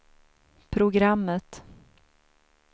programmet